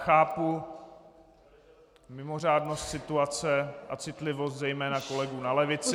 Chápu mimořádnost situace a citlivost zejména kolegů na levici...